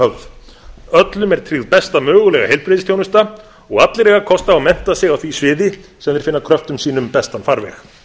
höfð öllum er tryggð besta mögulega heilbrigðisþjónusta og allir eiga kost á að mennta sig á því sviði sem þeir finna kröftum sínum bestan farveg